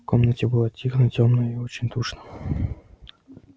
в комнате было тихо тёмно и очень душно